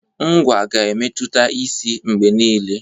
Ngwá ga-emetụta isi mgbe niile.